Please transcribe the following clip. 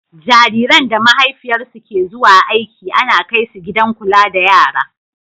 Jariran da mahaifiyarsu ke zuwa aiki ana kaisu gidan kula da yara.